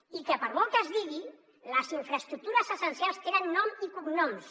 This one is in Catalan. i per molt que es digui les infraestructures essencials tenen nom i cognoms